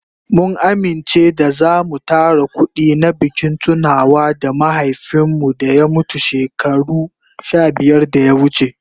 Mun amince da zamu tara kudi na bikin tunawa da mahaifin mu da ya mutu shekaru sha biyar da ya wuce.